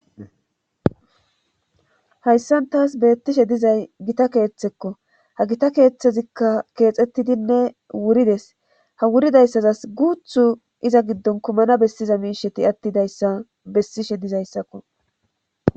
hayssan taas beettishe dizay gita keeththekko ha gita keeththezikka keexettidinne wurides ha wuridayssazas guuthu iza giddon kumana bessiza miisheti attidayssa bessishe dizayssakko